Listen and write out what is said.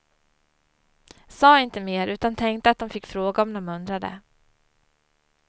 Sa inte mer, utan tänkte att de fick fråga om de undrade.